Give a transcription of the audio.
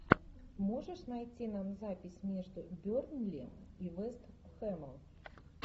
можешь найти нам запись между бернли и вест хэмом